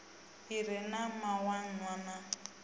i re na mawanwa na